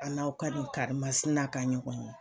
An n'aw ka nin karimasina ka nin ban.